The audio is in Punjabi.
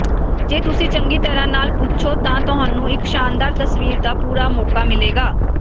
ਜੇ ਤੁਸੀਂ ਚੰਗੀ ਤਰਾਂ ਨਾਲ ਪੁੱਛੋ ਤਾਂ ਤੁਹਾਨੂੰ ਇੱਕ ਸ਼ਾਨਦਾਰ ਤਸਵੀਰ ਦਾ ਪੂਰਾ ਮੌਕਾ ਮਿਲੇਗਾ